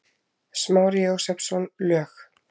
Smári Jósepsson, lög